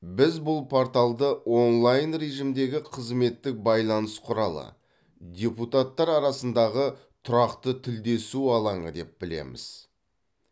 біз бұл порталды онлайн режимдегі қызметтік байланыс құралы депутаттар арасындағы тұрақты тілдесу алаңы деп білеміз